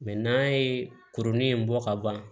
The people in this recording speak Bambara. Mɛ n'a ye kurunin in bɔ ka ban